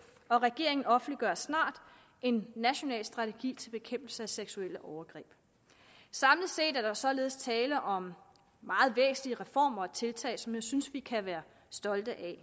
og regeringen offentliggør snart en national strategi til bekæmpelse af seksuelle overgreb samlet set er der således tale om meget væsentlige reformer og tiltag som jeg synes at vi kan være stolte af